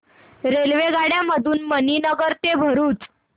रेल्वेगाड्यां मधून मणीनगर ते भरुच